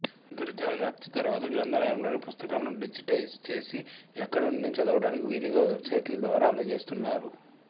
అంతర్జాల వ్యాప్తి తరువాత గ్రంథాలయములోని పుస్తకాలను డిజిటైజ్ చేసి ఎక్కడినుండైనా చదవాటానికి వీలుగా వెబ్సైట్ల ద్వారా అందచేస్తున్నారు